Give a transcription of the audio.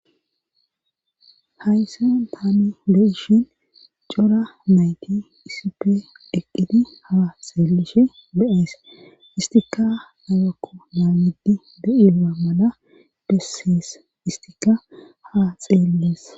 Hayssa taame be'ishin cora nayti issippe eqqidi ha seelishe beees istikka lagakku naamidi de7iea mala bessees istika ha xeellees.